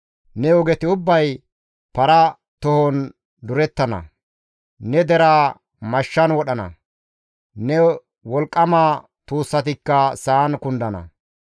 Ne ogeti ubbay para tohon durettana; ne deraa mashshan wodhana; ne wolqqama tuussatikka sa7an kundana.